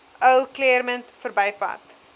ou claremont verbypad